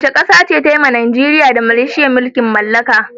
Wace ƙasa ce ta yi wa Najeriya da Malaysia mulkin mallaka.